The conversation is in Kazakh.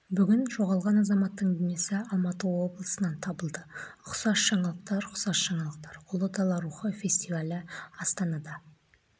бүгін жоғалған азаматтың денесі алматы облысынан табылды ұқсас жаңалықтар ұқсас жаңалықтар ұлы дала рухы фестивалі астанада